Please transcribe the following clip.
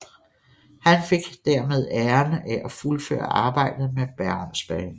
Han fik dermed æren af at fuldføre arbejdet med Bergensbanen